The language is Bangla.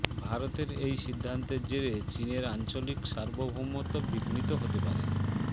ভারতের এই সিদ্ধান্তের জেরে চিনের আঞ্চলিক সার্বভৌমত্ব বিঘ্নিত হতে পারে